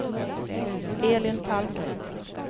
Elin Palmgren